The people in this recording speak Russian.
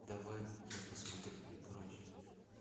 давай я посмотрю прочь